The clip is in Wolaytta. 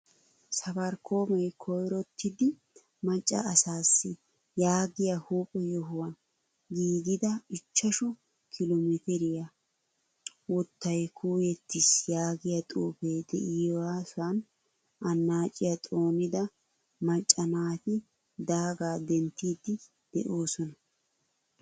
Safarikome koyrottidi macca asaasi yaagiyaa huphphe yohuwan giigida ichchashshu kilo metiriyaa wottaykuyettiis yaagiya xuufe de'iyosan annaciyaa xoonida macca naati daaga denttidi deosona.